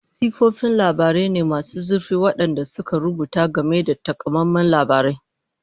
Siffofin labarai ne masu zurfi waɗanda suka rubuta game da takamaiman labarai.